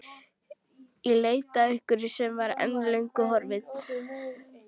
Í leit að einhverju sem var, en er löngu horfið.